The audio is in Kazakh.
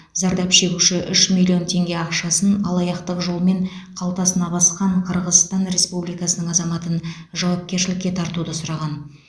зардап шегуші үш миллион теңге ақшасын алаяқтық жолмен қалтасына басқан қырғызстан республикасының азаматын жауапкершілікке тартуды сұраған